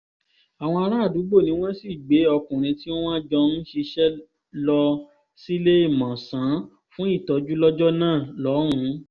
àwọn àràádúgbò ni wọ́n sì gbé ọkùnrin tí wọ́n jọ ń ṣiṣẹ́ lọ síléemọ̀sán fún ìtọ́jú lọ́jọ́ náà lọ́hùn-ún